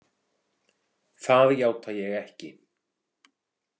Það játa ég ekki.